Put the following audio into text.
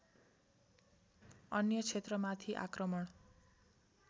अन्य क्षेत्रमाथि आक्रमण